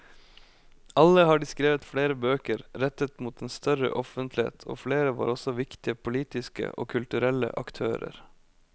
Alle har de skrevet flere bøker rettet mot en større offentlighet, og flere var også viktige politiske og kulturelle aktører.